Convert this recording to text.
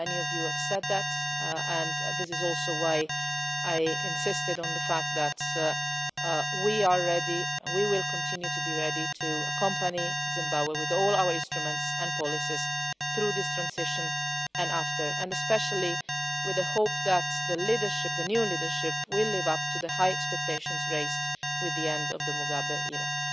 Many of you made that point, and this is also why I have insisted on the fact that we are ready and will continue to be ready to accompany Zimbabwe, with all our instruments and policies, through this transition and after, and especially with the hope that the new leadership will live up to the high expectations raised with the end of the Mugabe era.